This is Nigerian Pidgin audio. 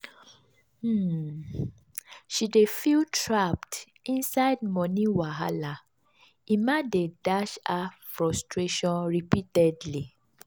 um she dey feel trapped inside moni wahala emma dey dash her frustration repeatedly. um